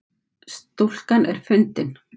Stúlkan er fundin